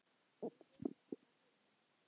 Ég virði hana fyrir mér.